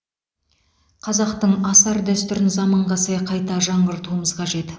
қазақтың асар дәстүрін заманға сай қайта жаңғыртуымыз қажет